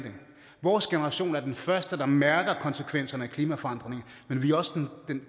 vores generation er den første der mærker konsekvenserne af klimaforandringerne men vi er også den